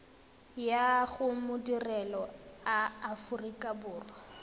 ya go madirelo a aforika